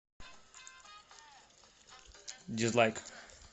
дизлайк